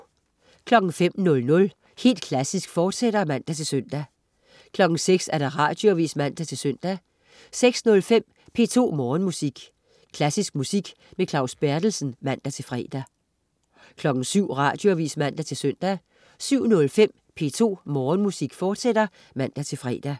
05.00 Helt Klassisk, fortsat (man-søn) 06.00 Radioavis (man-søn) 06.05 P2 Morgenmusik. Klassisk musik med Claus Berthelsen (man-fre) 07.00 Radioavis (man-søn) 07.05 P2 Morgenmusik, fortsat (man-fre)